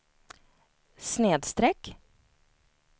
snedsträck